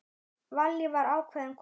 Vallý var ákveðin kona.